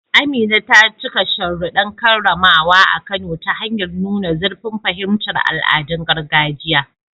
Amina ta cika sharuɗɗan karramawa a Kano ta hanyar nuna zurfin fahimtar al'adun gargajiya.